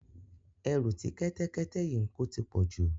Ẹrù tí kẹ́tẹ́kẹ́tẹ́ yìí ń ko ti pọ̀ jù.